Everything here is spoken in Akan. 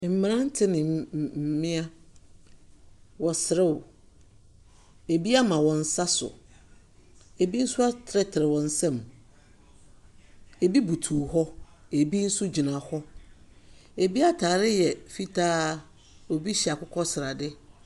Mberante ne mbea, wɔserew, ebi ama wɔn nsa so, ebi so atenetene wɔn nsa mu. Ebi butu hɔ, ebi so gyina hɔ. Ebi ataare yɛ fitaa, obi hyɛ akokɔsrade.